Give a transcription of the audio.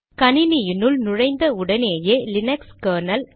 கணினினுள் நுழைந்த உடனேயே Linux kernel